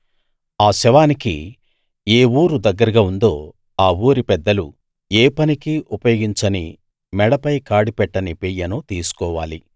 ఆ శవానికి ఏ ఊరు దగ్గరగా ఉందో ఆ ఊరి పెద్దలు ఏ పనికీ ఉపయోగించని మెడపై కాడి పెట్టని పెయ్యను తీసుకోవాలి